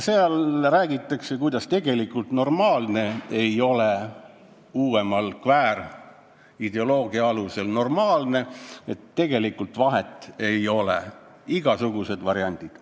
Veel räägitakse, et tegelikult normaalne ei ole uuema kväärideoloogia alusel normaalne, tegelikult vahet ei ole, on igasugused variandid.